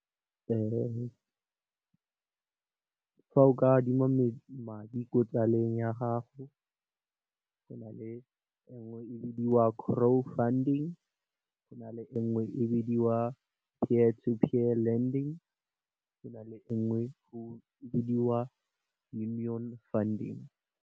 Fa o ka adima madi ko tsaleng ya gago, go na le nngwe e bidiwa Crow funding, go na le e nngwe e bidiwa Peer to Peer lending, go na le nngwe go bidiwa Union funding.